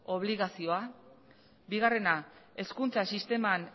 obligazioa bigarrena hezkuntza sisteman